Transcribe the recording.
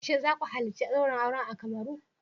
Shin za ku halarci daurin auren a Cameroon.